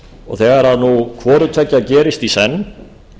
og þegar hvoru tveggja gerist í senn